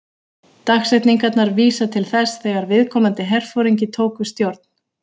Dagsetningarnar vísa til þess þegar viðkomandi herforingi tók við stjórn.